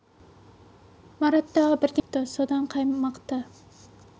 марат тағы бірдеңе дегісі келіп еді әбіл ағай сұрланып кетіпті содан қаймықты